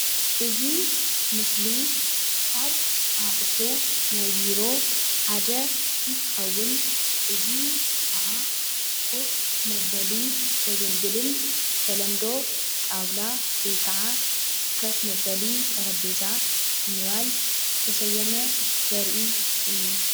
እዚ ምስሊ ካብ ኣቁሑት ናይ ቢሮ ሓደ እንትከውን እዚ ከዓ ኮፍ መበሊ ዘገልግልን ብተለምዶ ጣውላ ወይ ከፍ መበሊ ጠረጴዛ ብምባል ዝተሰየመ ዘርኢ እዩ፡፡